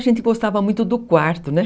A gente gostava muito do quarto, né?